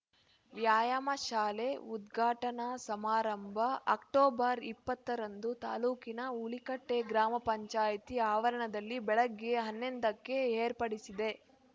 ವ್ಯಾಯಾಮ ಶಾಲೆ ಉದ್ಘಾಟನಾ ಸಮಾರಂಭ ಅಕ್ಟೋಬರ್ ಇಪ್ಪತ್ತ ರಂದು ತಾಲೂಕಿನ ಹುಲಿಕಟ್ಟೆ ಗ್ರಾಮ ಪಂಚಾಯತಿ ಆವರಣದಲ್ಲಿ ಬೆಳಗ್ಗೆ ಹನ್ನೇದಕ್ಕೆ ಏರ್ಪಡಿಸಿದೆ